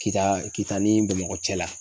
Kita kita ni bamakɔ cɛ la